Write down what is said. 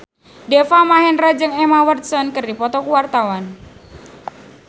Deva Mahendra jeung Emma Watson keur dipoto ku wartawan